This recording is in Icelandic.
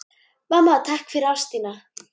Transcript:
Mamma, takk fyrir ást þína.